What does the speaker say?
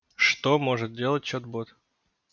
что может делать чат-бот